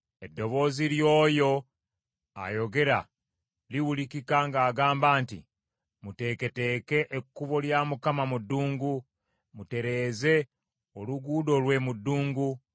Eddoboozi ly’oyo ayogera liwulikika ng’agamba nti, “Muteeketeeke ekkubo lya Mukama mu ddungu, mutereeze oluguudo lwe mu ddungu.